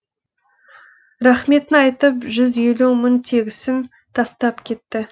рахметін айтып жүз елу мың тегісін тастап кетті